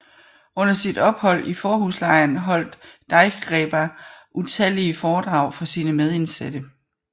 Under sit ophold i Fårhuslejren holdt Deichgräber utallige foredrag for sine medindsatte